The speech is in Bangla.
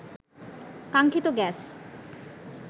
কাঙ্ক্ষিত গ্যাস